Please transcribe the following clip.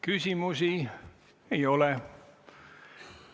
Küsimusi ei ole.